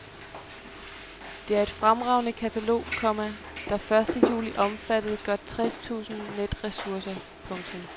Det er et fremragende katalog, komma der første juli omfattede godt tres tusinde netressourcer. punktum